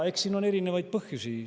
Eks sel ole erinevaid põhjusi.